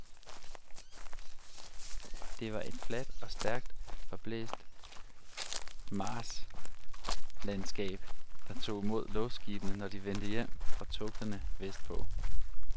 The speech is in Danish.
Det var et fladt og stærkt forblæst marsklandskab, der tog imod luftskibene når de vendte hjem fra togterne vest på.